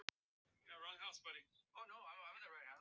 Ekki hrædd um að sýna tryllt viðbrögð.